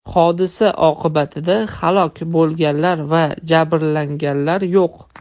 Hodisa oqibatida halok bo‘lganlar va jabrlanganlar yo‘q.